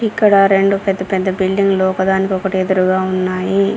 ఇక్కడ రెండు పెద్ద పెద్ద బిల్డింగ్లు ఒకదానికొకటి ఎదురుగా ఉన్నాయి.